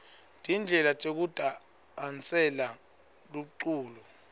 tindlela tekudasela lomculo